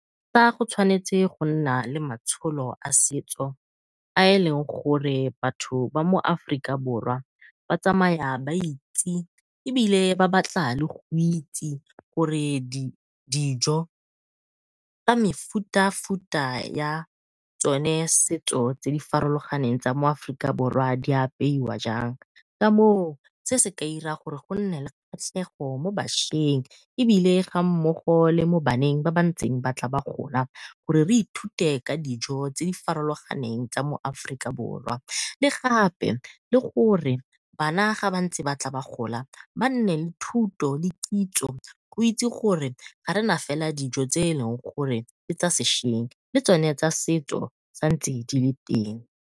Fa go tshwanetse go nna le maitsholo a setso, a e leng gore batho ba mo Aforika Borwa ba tsamaya ba itse ebile ba batla le go itse gore dijo tsa mefutafuta ya tsone setso tse di farologaneng tsa mo Aforika Borwa di apeiwa jang. Ka moo se se ka ira gore go nne le kgatlhego mo bašweng, ebile ga mmogo le mo baneng ba ba ntseng ba tla ba gola gore re ithute ka dijo tse di farologaneng tsa mo Aforika Borwa. Le gape, le gore bana ga ba ntse ba tla ba gola ba nne le thuto le kitso. Go itse gore ga rena fela dijo tse e leng gore ke tsa sešweng, le tsone tsa setso sa ntse di le teng.